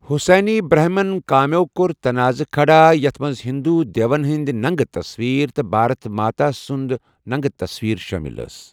حسینٕنۍ برہمن کامٮ۪و کٔر تنازٕ کھڑا، یَتھ منٛز ہندو دیوَن ہٕنٛدۍ ننٛگہٕ تصویٖر، تہٕ بھارت ماتا سُنٛد ننٛگہٕ تصویٖر شٲمِل ٲس۔